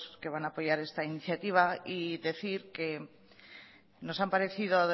que van a apoyar esta iniciativa y decir que nos han parecido